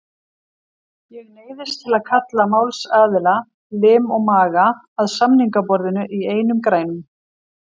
Ég neyðist til að kalla málsaðila, lim og maga, að samningaborðinu í einum grænum.